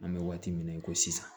An bɛ waati min na i ko sisan